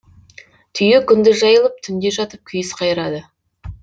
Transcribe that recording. түйе күндіз жайылып түнде жатып күйіс қайырады